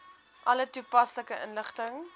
alle toepaslike inligting